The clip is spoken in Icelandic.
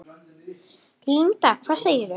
Linda: Hvað segirðu?